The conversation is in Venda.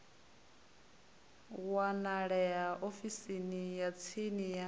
wanalea ofisini ya tsini ya